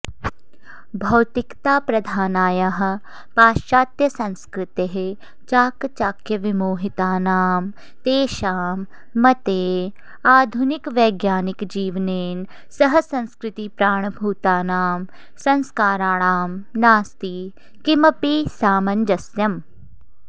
भौतिकताप्रधानायाः पाश्चात्यसंस्कृतेः चाकचक्यविमोहितानां तेषां मते आधुनिकवैज्ञानिकजीवनेन सह संस्कृतिप्राणभूतानां संस्काराणां नास्ति किमपि सामञ्जस्यम्